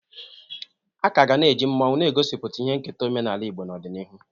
A ka ga na-eji mmọnwụ na-egosi ihe nketa omenaala Igbo n'ọdịnihu.